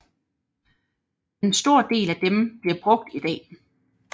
En stor del af dem bliver brugt i dag